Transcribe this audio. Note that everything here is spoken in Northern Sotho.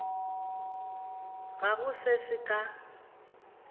ga go se se ka